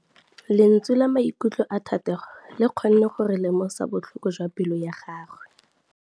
Lentswe la maikutlo a Thategô le kgonne gore re lemosa botlhoko jwa pelô ya gagwe.